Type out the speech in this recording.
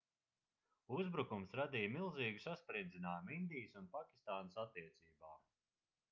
uzbrukums radīja milzīgu sasprindzinājumu indijas un pakistānas attiecībām